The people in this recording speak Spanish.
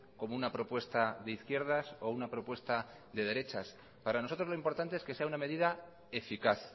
como una propuesta de izquierdas o una propuesta de derechas para nosotros lo importante es que sea una medida eficaz